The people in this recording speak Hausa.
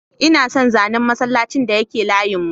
Ina son zanen masallacin da yake layin mu.